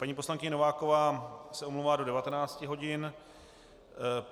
Paní poslankyně Nováková se omlouvá do 19 hodin.